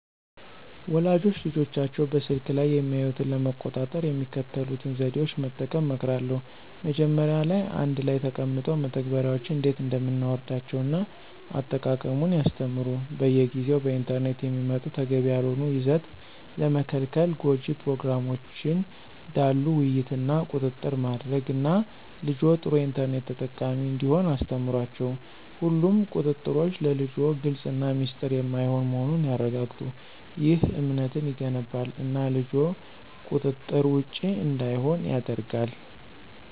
ወላጆች ልጆቻቸው በስልክ ላይ የሚያዩትን ለመቆጣጠር የሚከተሉትን ዘዴዎች መጠቀም እመክራለሁ። መጀመሪያ ላይ አንድ ላይ ተቀምጠው መተግበሪያዎችን እንዴት እንደምናወርዳቸውን እና አጠቃቀሙን ያስተምሩ። በየጊዜው በኢንተርኔት የሚመጡ ተገቢ ያልሆነ ይዘት ለመከልከል ጎጅ ፕሮግራሞችን ዳሉ ውይይት እና ቁጥጥር ማድረግ እና ልጅዎ ጥሩ የኢንተርኔት ተጠቃሚ እንዲሆን አስተምሯቸው። ሁሉም ቁጥጥሮች ለልጅዎ ግልፅ እና ሚስጥር የማይሆን መሆኑን ያረጋግጡ። ይህ እምነትን ይገነባል እና ልጅዎ ቁጥጥር ውጭ እንዳይሆን ያደርጋል።